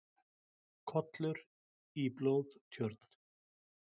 Kollur í blóðtjörn.